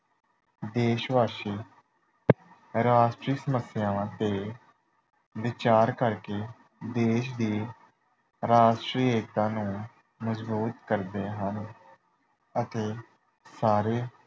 ਦੇਸ਼ਵਾਸੀ ਰਾਸ਼ਟਰੀ ਸਮੱਸਿਆਵਾਂ ਤੇ ਵਿਚਾਰ ਕਰਕੇ ਦੇਸ਼ ਦੀ ਰਾਸ਼ਟਰੀ ਏਕਤਾ ਨੂੰ ਮਜ਼ਬੂਤ ਕਰਦੇ ਹਨ ਅਤੇ ਸਾਰੇ